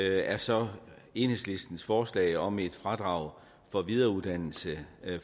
er så enhedslistens forslag om et fradrag for videreuddannelse